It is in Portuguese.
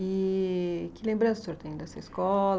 E que lembrança o senhor tem dessa escola?